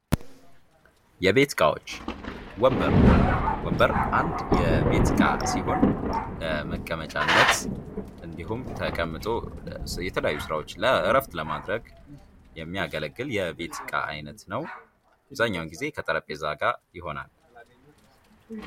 የቤት እቃዎች ወንበር ወንበር አንድ የቤት እቃ ሲሆን ለመቀመጫነት እንዲሁም ተቀምጦ የተለያዩ ስራዎች እረፍት ለማድረግ የሚያገለግል የቤት እቃ አይነት ነው። አብዛኛውን ግዜ ከጠረጴዛ ጋር ይሆናል።